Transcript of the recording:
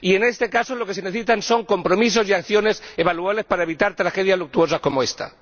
En este caso, lo que se necesitan son compromisos y acciones evaluables para evitar tragedias luctuosas como esta.